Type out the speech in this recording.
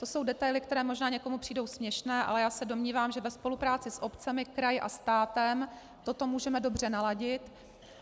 To jsou detaily, které možná někomu přijdou směšné, ale já se domnívám, že ve spolupráci s obcemi, kraji a státem toto můžeme dobře naladit.